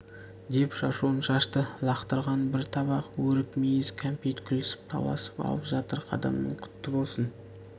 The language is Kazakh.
деп шашуын шашты лақтырғаны бір табақ өрік мейіз кәмпит күлісіп таласып алып жатыр қадамың құтты болсын